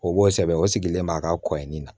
O b'o sɛbɛn o sigilen b'a ka kɔɲi na